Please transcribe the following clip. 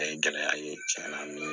A ye gɛlɛya ye cɛn na min